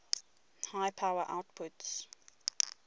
high power outputs